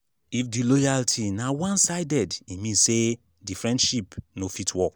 if di loyalty na one sided e mean say de friendship no fit work